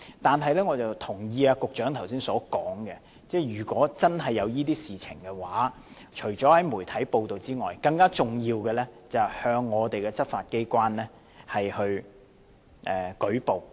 但是，我也同意局長剛才所說，如果真的發生這些事情，除了向媒體披露外，更重要的便是向執法機關舉報。